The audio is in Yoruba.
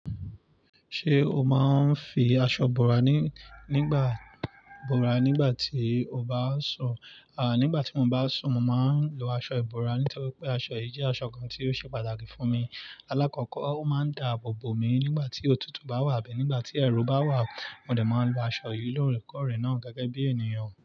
Ṣé o máa ń fi aṣọ bora ní, nígbà bora nígbà tí o bá sùn? À, nígbà tí mo bá sùn, mo màá ń lo aṣọ ìbora nítorí pé aṣọ yìí jẹ́ aṣọ kan tí ó ṣe pàtàkì fún mi. Alákọ̀kọ́ ó máa ń da àbò bòmí nígbà tí òtútù bá wà bí nígbà tí ẹ̀rù bá wà. Mó dé máa ń lo aṣọ yìí lóòrèkóòrè náà gẹ́gẹ́ bí ènìyàn.